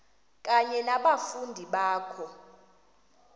kunye nabafundi bakho